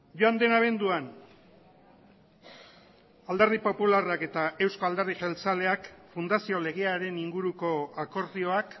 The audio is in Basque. joan den abenduan alderdi popularrak eta euzko alderdi jeltzaleak fundazio legearen inguruko akordioak